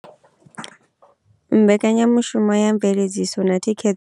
Mbekanyamushumo ya mveledziso na thikhe.